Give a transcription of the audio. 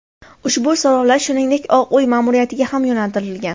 Ushbu so‘rovlar shuningdek Oq Uy ma’muriyatiga ham yo‘naltirilgan.